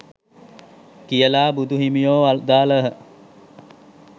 කියලා බුදු හිමියෝ වදාළහ